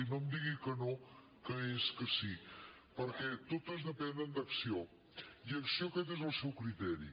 i no em digui que no que és que sí perquè totes depenen d’acció i a acció aquest és el seu criteri